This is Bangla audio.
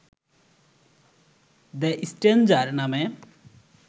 দ্য স্ট্রেঞ্জার নামে